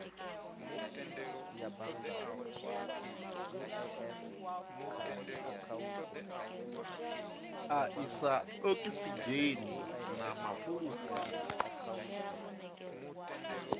a isa okisidzheni na mafulufulu